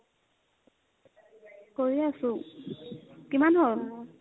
কৰি আছো কিমান হ'ল ?